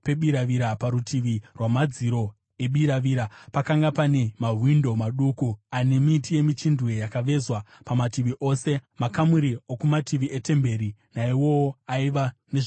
Parutivi rwamadziro ebiravira pakanga pane mawindo maduku ane miti yemichindwe yakavezwa pamativi ose. Makamuri okumativi etemberi naiwowo aiva nezvikumbaridzo.